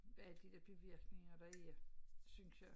Alle de der bivirkninger der er synes jeg